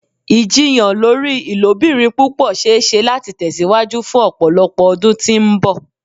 Ijiyàn lori ilobirin pupọ ṣee ṣe lati tẹsiwaju fun ọpọlọpọ ọdun ti mbọ.